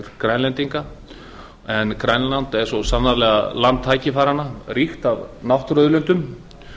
grænlendinga grænland er svo sannarlega land tækifæranna ríkt af náttúruauðlindum